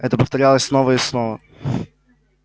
это повторялось снова и снова